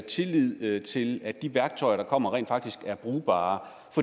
tillid til at de værktøjer der kommer rent faktisk er brugbare